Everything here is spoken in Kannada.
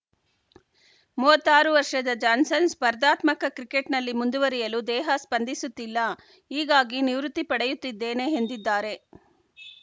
ಮೂವತ್ತ್ ಆರು ವರ್ಷದ ಜಾನ್ಸನ್‌ ಸ್ಪರ್ಧಾತ್ಮಕ ಕ್ರಿಕೆಟ್‌ನಲ್ಲಿ ಮುಂದುವರಿಯಲು ದೇಹ ಸ್ಪಂದಿಸುತ್ತಿಲ್ಲ ಹೀಗಾಗಿ ನಿವೃತ್ತಿ ಪಡೆಯುತ್ತಿದ್ದೇನೆ ಹೆಂದಿದ್ದಾರೆ